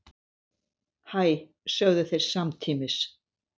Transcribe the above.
Hæ, sögðu þeir samtímis.